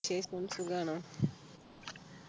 സുഖാണോ